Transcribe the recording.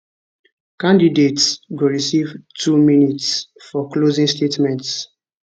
candidates go receive two minutes for closing statements